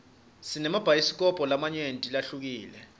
sinemabhayisikobho lamanyenti lahlukile